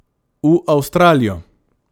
V Avstralijo.